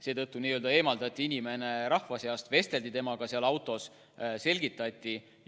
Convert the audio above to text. Seetõttu eemaldati inimene rahva seast, vesteldi temaga seal autos, selgitati asju.